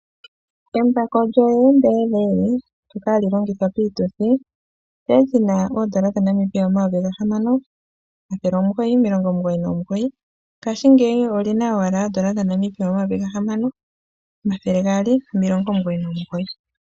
Embako lyo JBL ndyoka hali longithwa piituthi olyali li na N$6,999 ngaashingeyi oli na owala N$6,299.